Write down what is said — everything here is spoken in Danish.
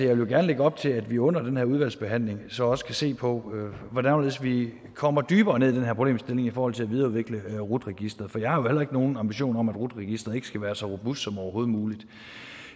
vil gerne lægge op til at vi under den her udvalgsbehandling så også kan se på hvordan og hvorledes vi kommer dybere ned i den her problemstilling i forhold til at videreudvikle rut registeret for jeg har jo heller ikke nogen ambitioner om at rut registeret ikke skal være så robust som overhovedet muligt